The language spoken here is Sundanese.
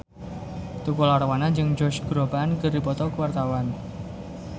Tukul Arwana jeung Josh Groban keur dipoto ku wartawan